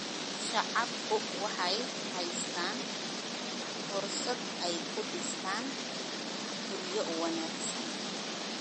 Shacabku waxay haystaan ??fursad ay ku dhistaan ??guryo wanaagsan.